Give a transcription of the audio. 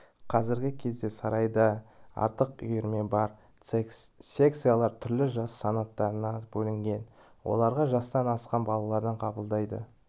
қазіргі кезде сарайда артық үйірме бар секциялар түрлі жас санаттарына бөлінген оларға жастан асқан балаларды қабылдайды